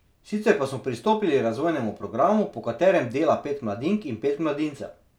Sicer pa smo pristopili razvojnemu programu, po katerem dela pet mladink in pet mladincev.